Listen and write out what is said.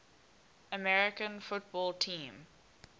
american football team